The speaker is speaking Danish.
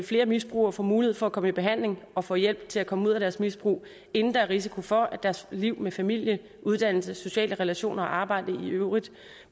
flere misbrugere får mulighed for at komme i behandling og får hjælp til at komme ud af deres misbrug inden der er risiko for at deres liv med familie uddannelse sociale relationer og arbejde i øvrigt